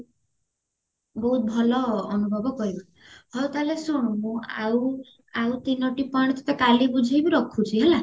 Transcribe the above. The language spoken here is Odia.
ବହୁତ ଭଲ ଅନୁଭବ କରିବା ହଉ ତାହେଲେ ଶୁଣ ମୁଁ ଆଉ ଆଉ ତିନୋଟି point ଟଟେ କାଲି ବୁଝେଇବି ରଖୁଚି ହେଲା